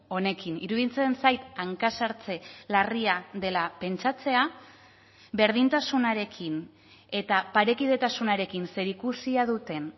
honekin iruditzen zait hanka sartze larria dela pentsatzea berdintasunarekin eta parekidetasunarekin zerikusia duten